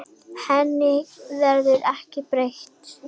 Henni verður ekki breytt.